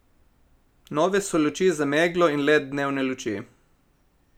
Nove so luči za meglo in led dnevne luči.